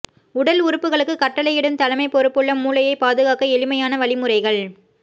உடல் உறுப்புகளுக்கு கட்டளையிடும் தலைமைப் பொறுப்புள்ள மூளையை பாதுகாக்க எளிமையான வழிமுறைகள்